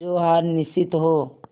जो हार निश्चित हो